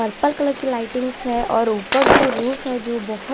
purple colour की lightings हैं और ऊपर जो रूह है जो बहु--